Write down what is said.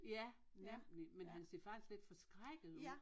Ja nemlig men han ser faktisk lidt forskrækket ud